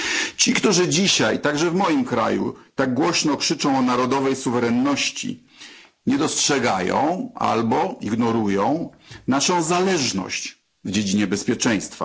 Ci, którzy dzisiaj, także w moim kraju, tak głośno krzyczą o narodowej suwerenności, nie dostrzegają albo ignorują naszą zależność w dziedzinie bezpieczeństwa.